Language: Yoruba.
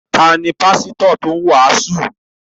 Ta ni pásítọ̀ tó ń wàásù?